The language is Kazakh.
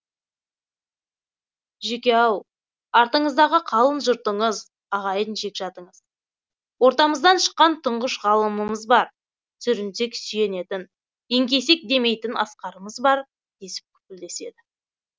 жүке ау артыңыздағы қалың жұртыңыз ағайын жекжатыңыз ортамыздан шыққан тұңғыш ғалымымыз бар сүрінсек сүйенетін еңкейсек демейтін асқарымыз бар десіп күпілдеседі